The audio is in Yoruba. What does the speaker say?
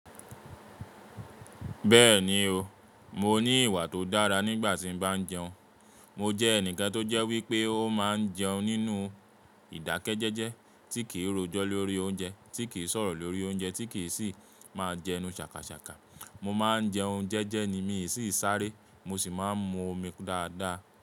Bẹ́ẹ̀ni o, mo ní ìwà tó dára nígbà tí mo bá jẹun. Mo jẹ́ ẹnìkan tó jẹ́ wípé ó máa ń jẹun nínú ìdákẹ́jẹ́jẹ́ tí kìí rojọ́ lórí oúnjẹ, tí kìí sọ̀rọ̀ lórí oúnjẹ, tí kì í sì máa jẹnu ṣàkàṣàkà. Mo máa ń jẹun jẹ́jẹ́ ni mi sì ń sáré. Mo sì máa ń mu omi dáadáa.